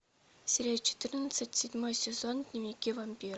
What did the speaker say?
серия четырнадцать седьмой сезон дневники вампира